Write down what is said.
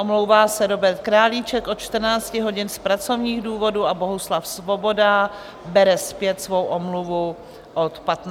Omlouvá se Robert Králíček od 14 hodin z pracovních důvodů a Bohuslav Svoboda bere zpět svou omluvu od 15 hodin.